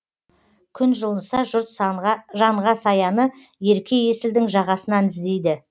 күн жылынса жұрт жанға саяны ерке есілдің жағасынан іздейді